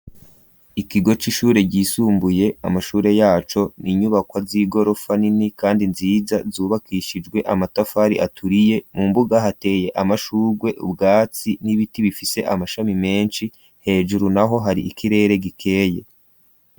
Ikigo c'ishure ryisumbuye. Amashure yaco n'inyubakwa z'igorofa nini kandi nziza zubakishijwe amatafari aturiye. Mu mbuga hateye amashurwe, ubwatsi n'ibiti bifise amashami menshi. Hejuru n'aho hari ikirere gikeye.